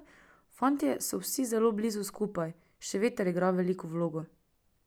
Fantje so vsi zelo blizu skupaj, še veter igra veliko vlogo.